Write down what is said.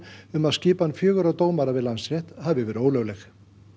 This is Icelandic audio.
um að skipan fjögurra dómara við Landsrétt hafi verið ólögleg